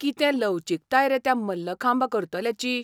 कितें लवचीकताय रे त्या मल्लखांब करतल्याची!